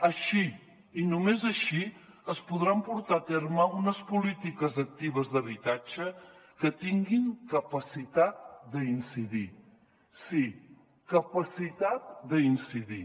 així i només així es podran portar a terme unes polítiques actives d’habitatge que tinguin capacitat d’incidir sí capacitat d’incidir